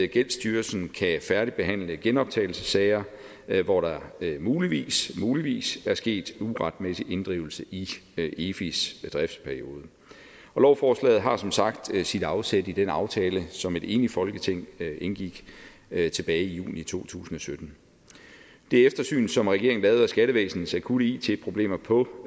gældsstyrelsen kan færdigbehandle genoptagelsessager hvor der muligvis muligvis er sket uretmæssig inddrivelse i efis driftsperiode og lovforslaget har som sagt sit afsæt i den aftale som et enigt folketing indgik tilbage i juni to tusind og sytten det eftersyn som regeringen lavede af skattevæsenets akutte it problemer på